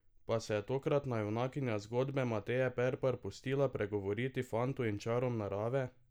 Pa se je tokratna junakinja zgodbe Mateje Perpar pustila pregovoriti fantu in čarom narave?